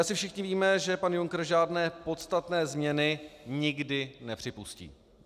Asi všichni víme, že pan Juncker žádné podstatné změny nikdy nepřipustí.